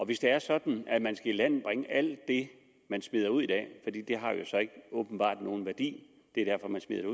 hvis det er sådan at man skal ilandbringe alt det man smider ud i dag fordi det åbenbart ikke har nogen værdi det er derfor man smider